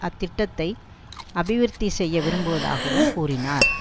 அத்திட்டத்தை அபிவிருத்தி செய்ய விரும்புவதாகவும் கூறினார்